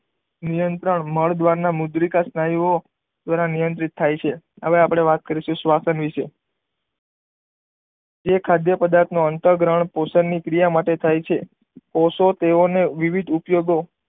નિયત્રંણ મળ દ્વાર ના મુદ્રિકા સ્નાયુ ઓ નિયંત્રિત થાય છે હવે અપને વાત કરીશું શ્વસન વિષે જે ખાધપ્રદાથો નું અંતઃ ગ્રહણ પોસણ ની ક્રિયા માટે થાય છે કોષો તેઓ ને વિવિધ ઉપયોગો